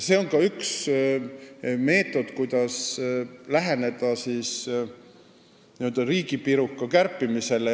See on ka üks meetod, kuidas läheneda n-ö riigipiruka kärpimisele.